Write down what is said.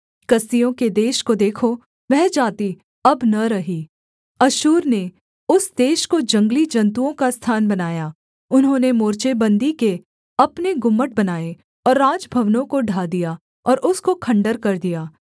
कसदियों के देश को देखो वह जाति अब न रही अश्शूर ने उस देश को जंगली जन्तुओं का स्थान बनाया उन्होंने मोर्चे बन्दी के अपने गुम्मट बनाए और राजभवनों को ढा दिया और उसको खण्डहर कर दिया